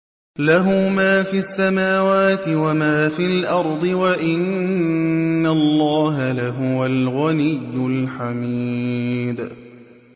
لَّهُ مَا فِي السَّمَاوَاتِ وَمَا فِي الْأَرْضِ ۗ وَإِنَّ اللَّهَ لَهُوَ الْغَنِيُّ الْحَمِيدُ